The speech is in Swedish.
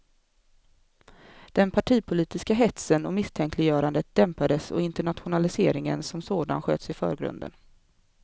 Den partipolitiska hetsen och misstänkliggörandet dämpades och internationaliseringen som sådan sköts i förgrunden.